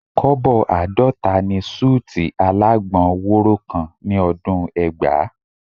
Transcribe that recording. Kọ́bọ̀ àádọ́ta ni súùtì alágbọn wóró kan ní ọdún ẹgbàá